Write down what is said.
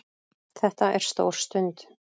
Þetta er stór stund